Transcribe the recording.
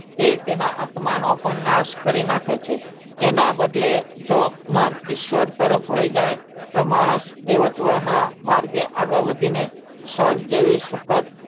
તે તેનાં આત્માનો પણ નાશ કરી નાખે છે એનાં બદલે જો મન ઈશ્વર તરફ વહી જાય તો માણસ દેવ્તવના માર્ગે આગળ વધીને સ્વર્ગ જેવી સુખદ,